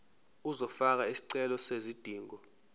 uzofaka isicelo sezidingo